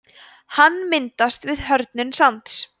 hann myndast við hörðnun sands